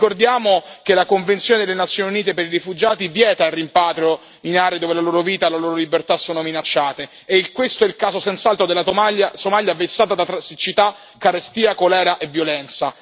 Ricordiamo che la convenzione delle Nazioni Unite per i rifugiati vieta il rimpatrio in aree dove la loro vita e la loro libertà sono minacciate e questo è il caso certamente della Somalia, vessata da siccità, carestia, colera e violenza.